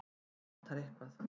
En eitthvað vantar.